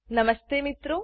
નમસ્તે મિત્રો